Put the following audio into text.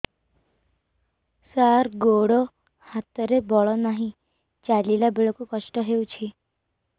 ସାର ଗୋଡୋ ହାତରେ ବଳ ନାହିଁ ଚାଲିଲା ବେଳକୁ କଷ୍ଟ ହେଉଛି